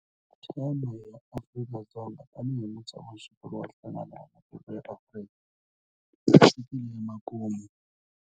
Theme ya Afrika-Dzonga tanihi mutshamaxitulu wa Nhlangano wa Matiko ya Afrika yi fikile emakumu.